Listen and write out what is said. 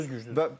Yüz yüz güclüdür.